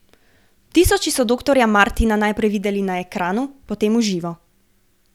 Tisoči so doktorja Martina naprej videli na ekranu, potem v živo.